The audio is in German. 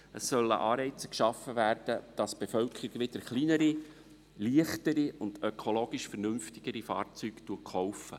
Es sollen Anreize geschaffen werden, damit die Bevölkerung wieder kleinere, leichtere und ökologisch vernünftigere Fahrzeuge kauft.